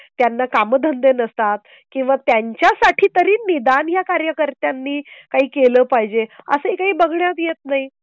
ही पिढी जी आहे ती बिघडती आहेत. त्यांना काम धंदे नसतात किंवा त्यांच्यासाठी तरी निदान या कार्यकर्त्यांनी काही केलं पाहिजे. असंही बघण्यात येत नाही.